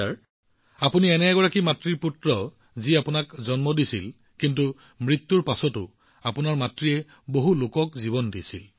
অভিজিতজী আপুনি এনে এগৰাকী মাতৃৰ পুত্ৰ যিয়ে আপোনাক জন্ম দি আপোনাক এক প্ৰকাৰে জীৱন দিছিল কিন্তু তেওঁৰ মৃত্যুৰ পাছতো আপোনাৰ মাতৃয়ে বহুলোকক জীৱন দিছিল